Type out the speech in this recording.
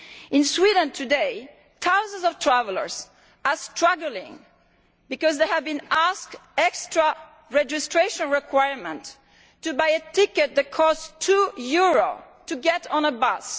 In Sweden today, thousands of travellers are struggling because they have been asked for extra registration requirements to buy a ticket that costs two euros to get on a bus.